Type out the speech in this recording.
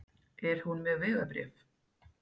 Er hún með vegabréf?